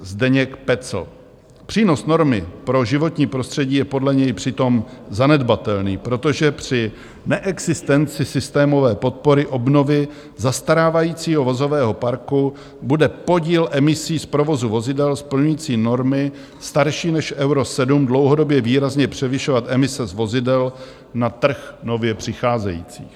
Přínos normy pro životní prostředí je podle něj přitom zanedbatelný, protože při neexistenci systémové podpory obnovy zastarávajícího vozového parku bude podíl emisí z provozu vozidel splňující normy starší než Euro 7 dlouhodobě výrazně převyšovat emise z vozidel na trh nově přicházejících.